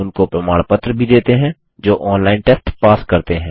उनको प्रमाण पत्र भी देते हैं जो ऑनलाइन टेस्ट पास करते हैं